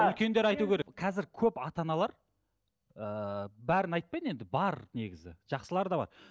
үлкендер айту керек қазір көп ата аналар ыыы бәрін айтпайын енді бар негізі жақсылар да бар